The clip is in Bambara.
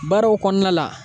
Baaraw kɔɔna la